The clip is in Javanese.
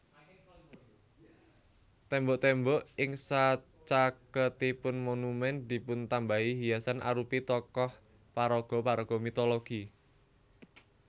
Tembok tembok ing sacaketipun monumen dipuntambahi hiasan arupi tokoh paraga paraga mitologi